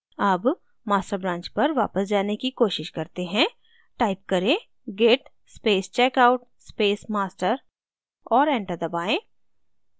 अब master branch पर वापस जाने की कोशिश करते हैं type करें git space checkout space master और enter दबाएँ